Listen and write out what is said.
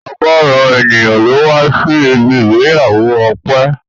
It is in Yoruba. Ọ̀gọrọ ènìyàn ló wá sí ibi ìgbéyàwó Ọpẹ́